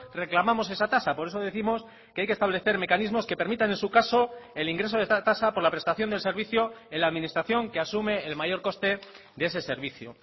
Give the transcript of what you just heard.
reclamamos esa tasa por eso décimos que hay que establecer mecanismos que permitan en su caso el ingreso de esta tasa por la prestación del servicio en la administración que asume el mayor coste de ese servicio